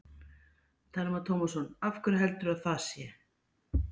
Telma Tómasson: Af hverju heldurðu að það sé?